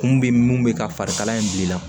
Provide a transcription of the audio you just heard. Kun bɛ mun bɛ ka farikala in bila i la